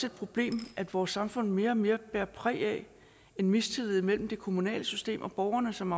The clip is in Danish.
et problem at vores samfund mere og mere bærer præg af en mistillid mellem det kommunale system og borgerne som